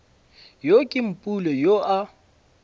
yo ke mpule yoo a